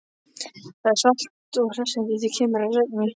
Það er svalt og hressandi, í því keimur af regni.